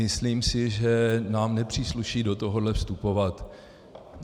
Myslím si, že nám nepřísluší do tohoto vstupovat.